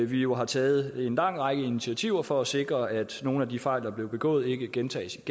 vi jo har taget en lang række initiativer for at sikre at nogle af de fejl der blev begået ikke gentages